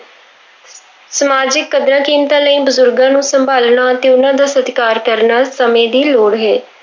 ਸਮਾਜਿਕ ਕਦਰਾਂ ਕੀਮਤਾਂ ਲਈ ਬਜ਼ੁਰਗਾਂ ਨੂੰ ਸੰਭਾਲਣਾ ਤੇ ਉਹਨਾਂ ਦਾ ਸਤਿਕਾਰ ਕਰਨਾ ਸਮੇਂ ਦੀ ਲੋੜ ਹੈ।